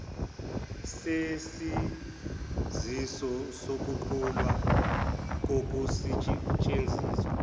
sesaziso sokuguqulwa kokusesthenziswa